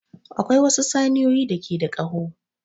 Akwai wasu saniyoyi da ke da ƙaho.